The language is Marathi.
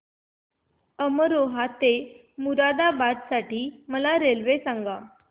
अमरोहा ते मुरादाबाद साठी मला रेल्वे सांगा